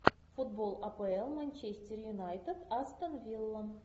футбол апл манчестер юнайтед астон вилла